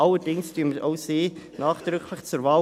Allerdings empfehlen wir auch sie nachdrücklich zur Wahl.